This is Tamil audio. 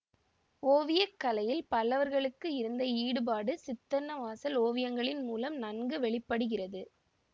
ஓவிய கலையில் பல்லவர்களுக்கு இருந்த ஈடுபாடு சித்தன்னவாசல் ஓவியங்களின் முலம் நன்கு வெளி படுகிறது